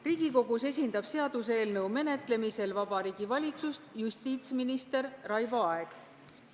Riigikogus esindab seaduseelnõu menetlemisel Vabariigi Valitsust justiitsminister Raivo Aeg.